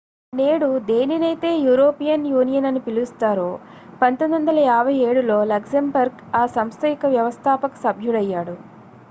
నేడు దేనినైతే European Union అని పిలుస్తారో 1957లో లక్సెంబర్గ్ ఆ సంస్థ యొక్క వ్యవస్థాపక సభ్యుడయ్యాడు